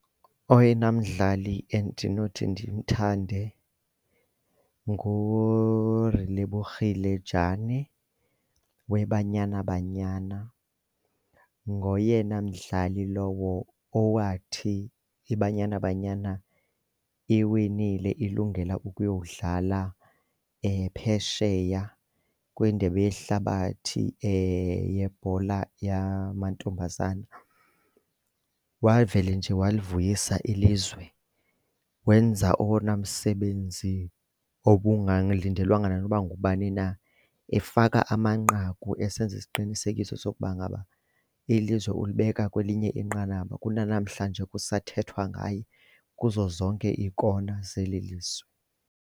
Oyena mdlali endinothi ndimthande nguRelebogile Jani weBanyana Banyana, ngoyena mdlali lowo owathi iBanyana Banyana iwinile ilungela ukuyodlala phesheya kwindebe yehlabathi yebhola yamantombazana wavele nje walivuyisa ilizwe. Wenza owona msebenzi obungalindelwanga nanoba ngubani na efaka amanqaku esenza isiqinisekiso sokuba ngaba ilizwe ulibeka kwelinye inqanaba, kunanamhlanje kusathethwa ngaye kuzo zonke iikona zeli lizwe.